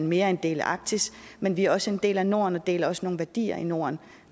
mere en del af arktis men vi er også en del af norden og deler også nogle værdier med norden